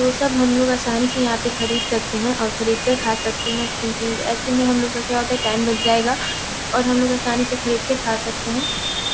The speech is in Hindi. वो सब हम लोग आसानी से यहां पे खरीद सकते है और खरीद कर खा सकते है क्यूंकि ऐसे में हम लोगो का क्या होता है टाइम बच जाएगा और हम लोग आसानी से खरीद के खा सकते है।